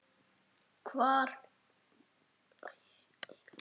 Hvað var í honum?